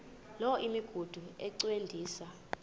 loo migudu encediswa